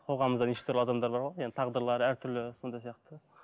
қоғамымызда неше түрлі адамдар бар ғой тағдырлары әртүрлі сондай сияқты